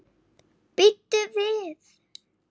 Bíddu við.